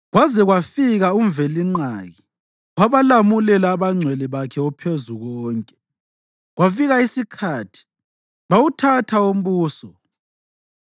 kwaze kwafika uMvelinqaki wabalamulela abangcwele bakhe oPhezukonke, kwafika isikhathi bawuthatha umbuso.